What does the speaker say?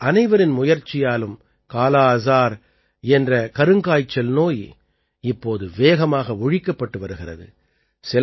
ஆனால் அனைவரின் முயற்சியாலும் காலா அஜார் என்ற கருங்காய்ச்சல் நோய் இப்போது வேகமாக ஒழிக்கப்பட்டு வருகிறது